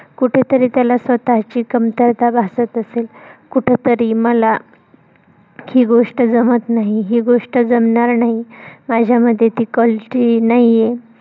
कुठेतरी त्याला स्वतःची कमतरता भासत असेल. कुठेतरी मला ही गोष्ट जमत नाही, ही गोष्ट जमणार नाही. माझ्यामध्ये ती quality नाही.